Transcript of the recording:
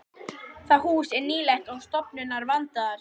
Það hús er nýlegt og stofurnar vandaðar.